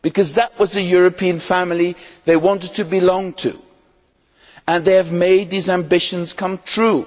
That was the European family they wanted to belong to, and they have made these ambitions come true.